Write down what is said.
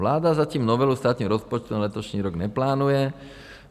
Vláda zatím novelu státního rozpočtu na letošní rok neplánuje.